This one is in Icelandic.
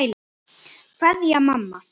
Kveðja, mamma.